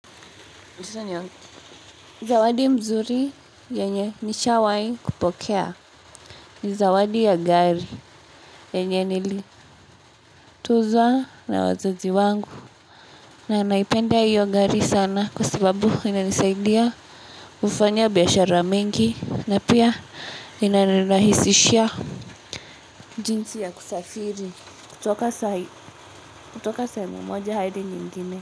Zawadi mzuri yenye nishawai kupokea. Ni zawadi ya gari yenye nilituzwa na wazazi wangu. Na naipenda hiyo gari sana kwa sababu ina nisaidia kufanya biashara mengi. Na pia ina nirahisishia jinsi ya kusafiri. Kutoka sehemu moja hadi nyingine.